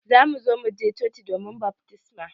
Za mu zo mu je coci don baftisma